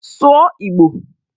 Sụọ Igbo!